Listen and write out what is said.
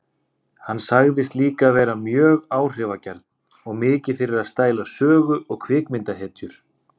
Hann sagðist líka vera mjög áhrifagjarn og mikið fyrir að stæla sögu- og kvikmyndahetjur.